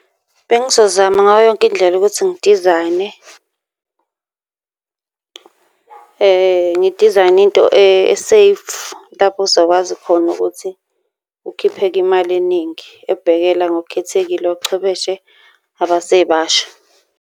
Bengizozama ngayo yonke indlela ukuthi ngidizayine ngidizayine into e-safe, lapho uzokwazi khona ukuthi ukhiphe-ke imali eningi ebhekela ngokukhethekile ochwebeshe abasebasha.